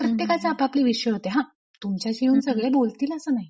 प्रत्येकाचे आपापले विश्व होते हा.. तुमच्याशी येऊन सगळे बोलतील असं नाही.